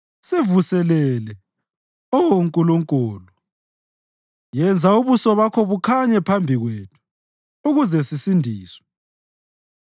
Sivuselele, Oh Nkulunkulu; yenza ubuso bakho bukhanye phambi kwethu, ukuze sisindiswe.